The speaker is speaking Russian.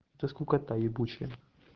это скукота ебучая